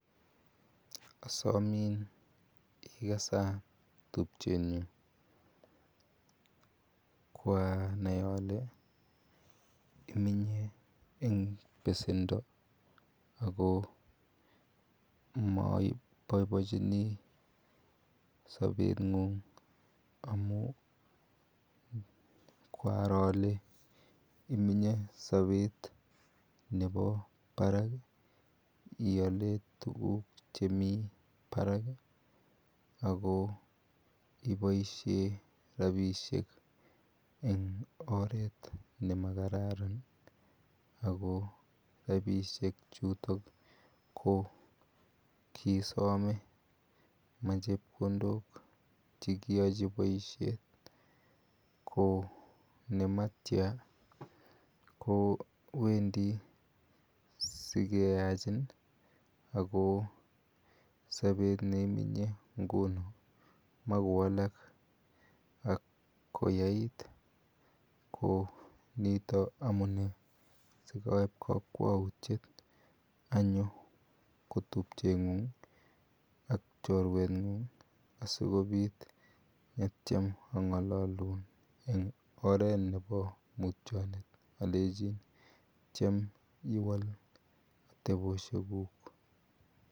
Asomin ikasa tupchenyu. Kwanai ale imenye eng pesendo ako maboibochini sabenyun'g. Amu kwaro ale imenye sabet nebo barak iale tujuk chemi barak aki iboishe rapishek eng oret ne makararan ako rapishek chutok ko kisome. Machepkondok che kiachi boishet ko nematia kewendi sikeyachin ako sabet neimenye nguno makowalak ak komakoyait. Ko nitok amune sikaip kakwautiet anyo ko tupcheng'ung ak chorweng'ung asikobit atiem ang'alolun eng oret nebo mutyonwt alechin tiem iwal atepishekuk.